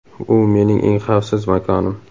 U mening eng xavfsiz makonim.